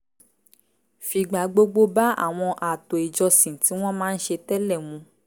fìgbà gbogbo bá àwọn ààtò ìjọsìn tí wọ́n máa ń ṣe tẹ́lẹ̀ mu